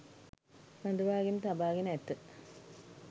රඳවාගෙන තබාගෙන ඇත.